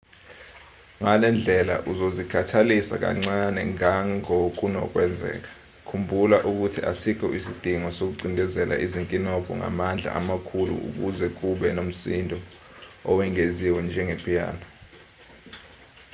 ngalendlela uzozikhathalisa kancane ngangokunokwenzeka khumbula ukuthi asikho isidingo sokucindezela izinkinobho ngamandla amakhulu ukuze kube nomsindo owengeziwe njenge-piano